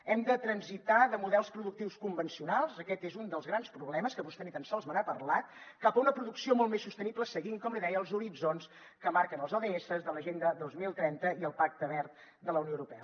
hem de transitar de models productius convencionals aquest és un dels grans problemes que vostè ni tan sols me n’ha parlat cap a una producció molt més sostenible seguint com li deia els horitzons que marquen els ods de l’agenda dos mil trenta i el pacte verd de la unió europea